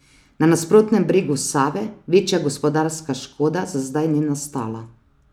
Na nasprotnem bregu Save večja gospodarska škoda za zdaj ni nastala.